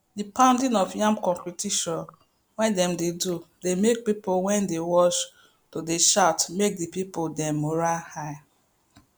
the pounding of yam competition wey dem dey do dey make pipo wey dey watch to dey shout make the pipo dem morale high